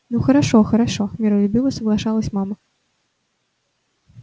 ну хорошо хорошо миролюбиво соглашалась мама